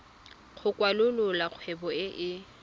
go kwalolola kgwebo e e